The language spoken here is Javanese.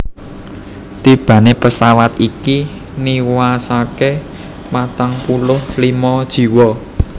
Tibané pesawat iki niwasaké patang puluh limo jiwa